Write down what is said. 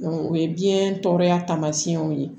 o ye biyɛn tɔɔrɔya taamasiyɛnw ye